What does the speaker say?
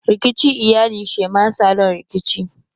Rikici iyali shema salon Rikici.